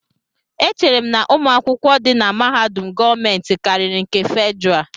Echere m na ụmụ akwụkwọ di na mahadum gọọmentị karịri nke Fedrá